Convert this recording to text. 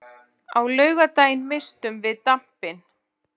Á laugardaginn misstum við dampinn.